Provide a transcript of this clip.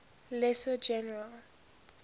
lesser general